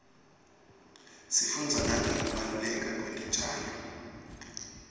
sifundza nangekubaluleka kwetitjalo